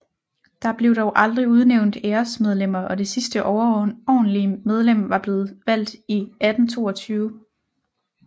Der blev dog aldrig udnævnt æresmedlemmer og det sidste overordentlige medlem var blevet valgt i 1822